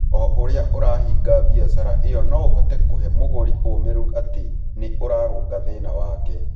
O ũrĩa ũrahinga biacara ĩyo no ũhote kũhe mũgũri ũũmĩrĩru atĩ nĩ ũrarũnga thĩna wake.